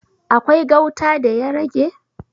Akwai gauta da ya rage?